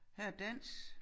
Her er dans